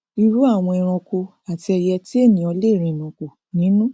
irú àwọn eranko àti ẹiyẹ tí ènìà lè rìnàkò nínú